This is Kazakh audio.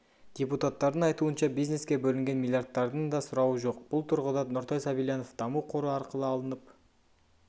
депутаттардың айтуынша бизнеске бөлінген миллиардтардың да сұрауы жоқ бұл тұрғыда нұртай сабильянов даму қоры арқылы алынып